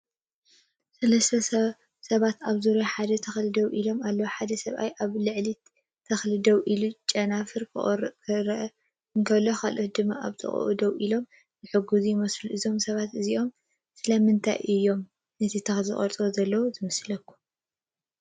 ሰለስተ ሰባት ኣብ ዙርያ ሓደ ተክሊ ደው ኢሎም ኣለዉ። ሓደ ሰብ ኣብ ልዕሊ ተክሊ ደው ኢሉ ጨናፍር ክቖርጽ ክረአ እንከሎ፡ካልእ ድማ ኣብ ጥቓኡ ደው ኢሉ ዝሕግዝ ይመስል። እዞም ሰባት እዚኦም ስለምንታይ እዮም ነቲ ተክሊ ዝቖርጹ ዘለዉ ዝመስሉ?